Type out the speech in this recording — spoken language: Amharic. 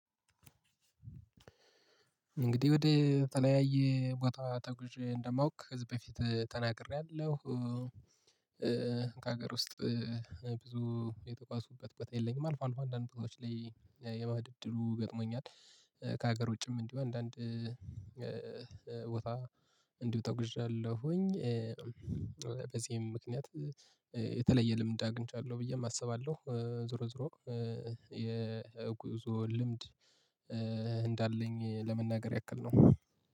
እንግዲህ ወደ ተለያየ ቦታ ተጉዥ እንደማውቅ ህዝብ በፊት ተናግሬያለሁ። ከሀገር ውስጥ ብዙ የተጓዙበት ቦታ የለኝም። አልፎ አልፎ በአንዳንድ ቦታዎች ላይ የመሄድ እድሉ ገጥሞኛል። ከሀገር ውጭም እንዲሁ አንዳንድ ቦታ እንዲሁ ተጉዣለሁኝ። በዚህም ምክንያት የተለየ ልምድ አግኝቻለሁ ብዬም አስባለሁ። ዞሮ ዞሮ የጉዞ ልምድ እንዳለኝ ለመናገር ያክል ነው።